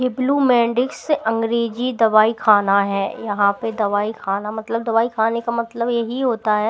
ये ब्लू मेंडिक्स से अंग्रेजी दवाई खाना है यहाँ पे दवाई खाना मतलब दवाई खाने का मतलब यही होता है--